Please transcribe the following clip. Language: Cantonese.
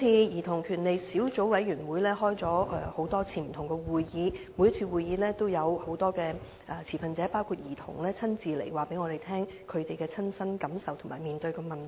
兒童權利小組委員會曾召開多次會議，而每次會議也有不同持份者包括兒童親身出席，告訴我們其親身感受及所面對的問題。